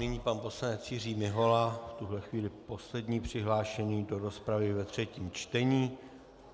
Nyní pan poslanec Jiří Mihola, v tuto chvíli poslední přihlášený do rozpravy ve třetím čtení.